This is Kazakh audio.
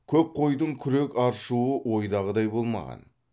көп қойдың күрек аршуы ойдағыдай болмаған